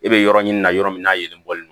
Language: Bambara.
E bɛ yɔrɔ ɲini na yɔrɔ min na yelen bɔ